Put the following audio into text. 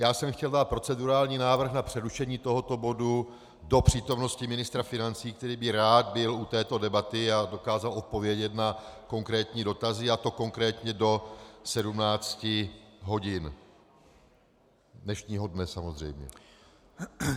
Já jsem chtěl dát procedurální návrh na přerušení tohoto bodu do přítomnosti ministra financí, který by rád byl u této debaty a dokázal odpovědět na konkrétní dotazy, a to konkrétně do 17 hodin dnešního dne samozřejmě.